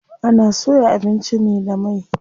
Ana soya abinci ne da mai.